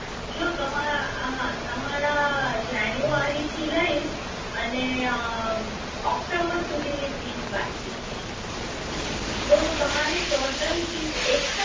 જો તમારા હા તમારા જાન્યુઆરી થી લઇ અને આ ઓક્ટોબર સુધી ની fees બાકી છે તો તમારી total fees એક